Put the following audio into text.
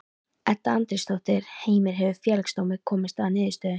Edda Andrésdóttir: Heimir, hefur Félagsdómur komist að niðurstöðu?